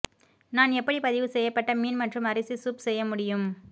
நான் எப்படி பதிவு செய்யப்பட்ட மீன் மற்றும் அரிசி சூப் செய்ய முடியும்